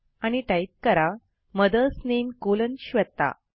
आणि टाईप करा mother's name colon Shweta